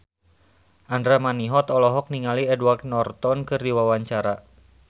Andra Manihot olohok ningali Edward Norton keur diwawancara